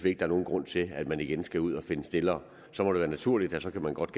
ikke nogen grund til at man igen skal ud at finde stillere så må det være naturligt at man godt